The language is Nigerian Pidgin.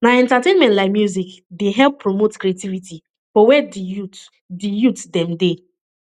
na entertainment like music dey help promote creativity for where di youth di youth dem dey